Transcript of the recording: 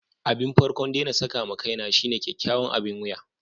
Abin farko'n de na saka ma kaina shine kyakkyawan abin wiya.